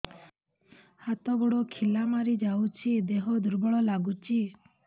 ହାତ ଗୋଡ ଖିଲା ମାରିଯାଉଛି ଦେହ ଦୁର୍ବଳ ଲାଗୁଚି